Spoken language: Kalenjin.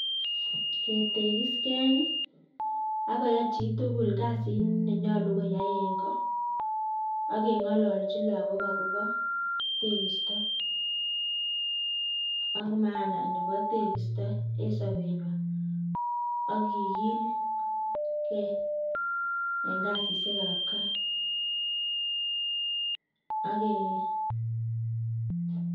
Ketekisken ak koyai cchitugul kasiit nenyolu koyaa en goo. Ak kengololchi logook akobo tegistoo ak komonutiet ab tekistoo en sobenywan ak kigil gee en kasisiek ab gaa.